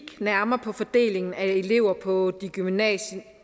nærmere på fordelingen af elever på de gymnasiale